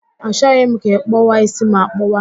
Achoghị m ka ị kpọwa ísí m akpọwa